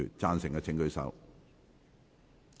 贊成的請舉手。